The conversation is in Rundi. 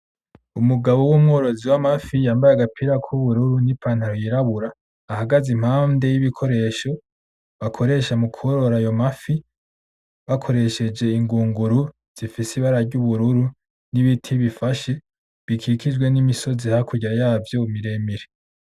Umugabo w’umworozi w'amafi yambaye agapira kubururu n'ipantalo yirabura ahagaze impande y’ibikoresho bakoresha mu kworora ayomafi bakoresheje ingunguru zifise ibara ryubururu n'ibiti bifashe bikijijwe n'imisozi hakurya yavyo miremire.